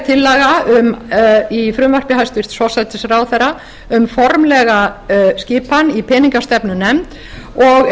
tillaga í frumvarpi hæstvirts forsætisráðherra um formlega skipan í peningastefnunefnd og